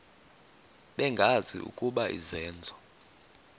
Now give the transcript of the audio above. bengazi ukuba izenzo